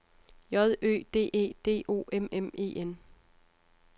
J Ø D E D O M M E N